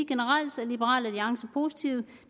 generelt er liberal alliance positive